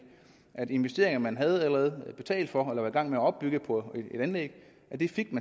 at investeringer man allerede havde betalt for eller var i gang med at opbygge på et anlæg